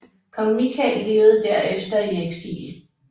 Kong Mikael levede derefter i eksil